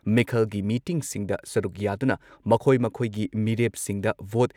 ꯃꯤꯈꯜꯒꯤ ꯃꯤꯇꯤꯡꯁꯤꯡꯗ ꯁꯔꯨꯛ ꯌꯥꯗꯨꯅ ꯃꯈꯣꯏ ꯃꯈꯣꯏꯒꯤ ꯃꯤꯔꯦꯞꯁꯤꯡꯗ ꯚꯣꯠ